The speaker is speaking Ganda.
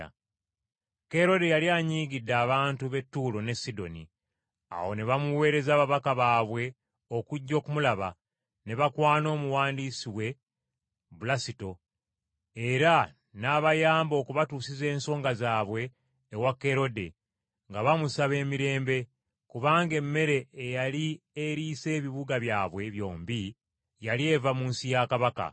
Kerode yali anyiigidde abantu b’e Ttuulo n’e Sidoni. Awo ne bamuweereza ababaka baabwe okujja okumulaba, ne bakwana omuwandiisi we Bulasito, era n’abayamba okubatuusiza ensonga zaabwe ewa Kerode nga bamusaba emirembe, kubanga emmere eyali eriisa ebibuga byabwe byombi yali eva mu nsi ya kabaka.